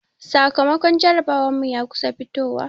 Sakamakon jarabawar mu ya kusa fitowa.